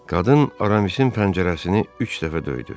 Qadın Aramis'in pəncərəsini üç dəfə döydü.